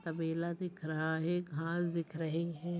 तबेला दिख रहा है घास दिख रहे है।